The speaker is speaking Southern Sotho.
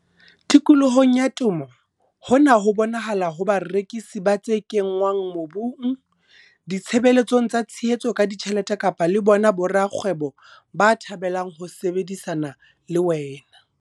Tikolohong ya temo hona ho bonahala ho barekisi ba tse kenngwang mobung, ditshebeletsong tsa tshehetso ka ditjhelete kapa le bona borakgwebo ba thabelang ho sebedisana le wena.